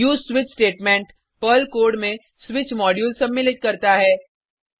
उसे switch statement Perl code में switch module सम्मिलित करता है